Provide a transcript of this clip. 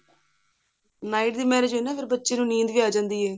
night ਦੀ marriage ਚ age ਬੱਚੇ ਨੂੰ ਨੀਂਦ ਵੀ ਆ ਜਾਂਦੀ ਹੈ